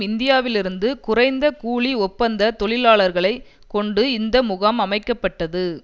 இந்தியாவிலிருந்து குறைந்த கூலி ஒப்பந்த தொழிலாளர்களை கொண்டு இந்த முகாம் அமைக்க பட்டது